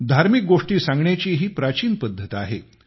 धार्मिक गोष्टी सांगण्याची ही प्राचीन पद्धत आहे